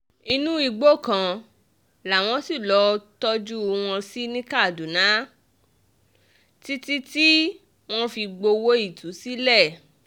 inú igbó kan làwọn ṣì lọọ́ tọ́jú wọn sí ní kaduna títí tí wọ́n fi gbowó ìtúsílẹ̀